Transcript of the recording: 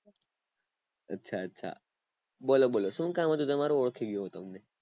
અચ્છા અચ્છા બોલો બોલો શું કામ હતું તમારું ઓળખી ગયો હું તમને